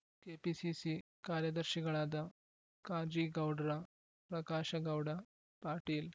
KPCC ಕಾರ್ಯದರ್ಶಿಗಳಾದ ಕಾಜೀಗೌಡ್ರ ಪ್ರಕಾಶಗೌಡ ಪಾಟೀಲ್